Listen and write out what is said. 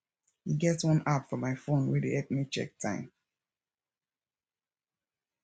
e get one app for my phone wey dey help me check time